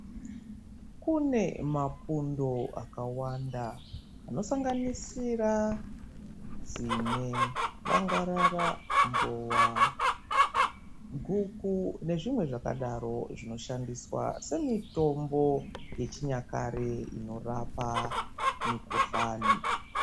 Kune mapundo akawanda anosanganisira tsine bangarara mbowa guku nezvimwe zvakadaro zvinoshandiswa semitombo yechinyakare inorapa mikuhlani .